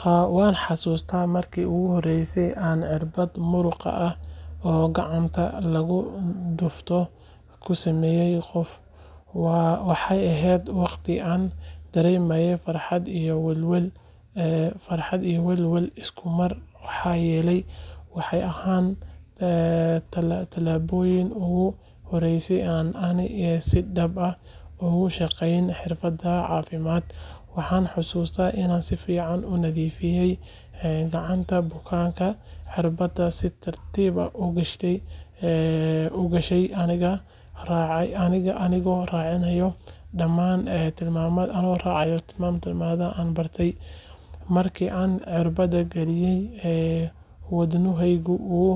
Haa waan xasuustaa markii ugu horreysay ee aan irbad muruqa ah oo gacanta lagu dhufto ku sameeyay qof. Waxaa ahayd waqti aan dareemayay farxad iyo welwel isku mar maxaa yeelay waxay ahayd tallaabadii ugu horreysay ee aan si dhab ah ugu shaqeeyo xirfadda caafimaad. Waxaan xusuustaa inaan si fiican u nadiifiyay gacanta bukaanka, irbadda si tartiib ah u galshay anigoo raacaya dhammaan tilmaamihii aan bartay. Markii aan irbadda geliyay, wadnuhaygu wuu